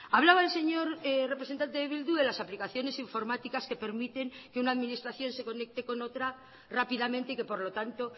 hablaba el señor representante de bildu de las aplicaciones informáticas que permiten que una administración se conecte con otra rápidamente y que por lo tanto